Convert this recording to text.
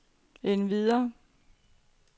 endvidere